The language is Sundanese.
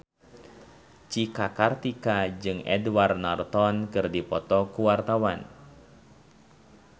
Cika Kartika jeung Edward Norton keur dipoto ku wartawan